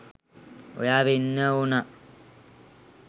ඔයා වෙන්න ඕනා.